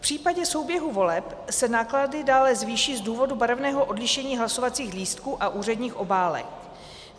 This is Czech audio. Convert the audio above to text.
V případě souběhu voleb se náklady dále zvýší z důvodu barevného odlišení hlasovacích lístků a úředních obálek.